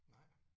Nej